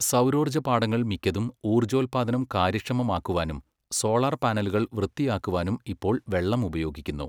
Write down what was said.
സൗരോർജ്ജപ്പാടങ്ങൾ മിക്കതും ഊർജോത്പാദനം കാര്യക്ഷമമാക്കുവാനും സോളാർപാനലുകൾ വൃത്തിയാക്കുവാനും ഇപ്പോൾ വെള്ളം ഉപയോഗിക്കുന്നു.